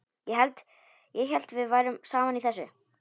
Ég hélt við værum saman í þessu.